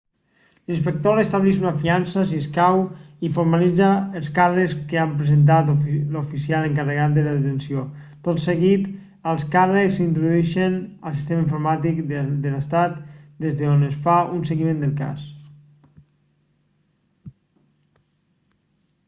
l'inspector estableix una fiança si escau i formalitza els càrrecs que ha presentat l'oficial encarregat de la detenció tot seguit els càrrecs s'introdueixen al sistema informàtic de l'estat des d'on es fa un seguiment del cas